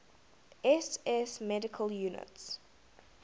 ss medical units